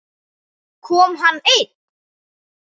Kom hann einn?